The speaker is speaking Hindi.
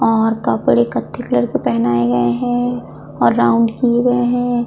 और कपड़े कत्थे कलर के पहनाए गए हैं और राउंड किय गए हैं।